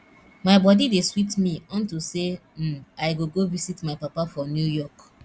my body dey sweet me unto say um i go go visit my papa for new york